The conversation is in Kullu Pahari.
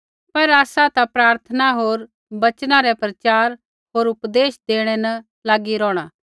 पर आसा ता प्रार्थना होर वचना रै प्रचार होर उपदेश देणै न लागी रौहणा